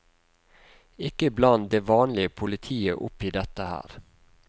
Ikke bland det vanlige politiet opp i dette her.